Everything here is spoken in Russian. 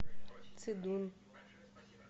цидун